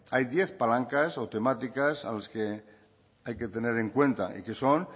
hay diez palancas o temáticas a las que hay que tener en cuenta y que son